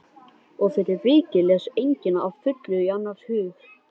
Og fyrir vikið les enginn að fullu í annars hug.